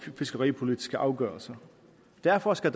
fiskeripolitiske afgørelser derfor skal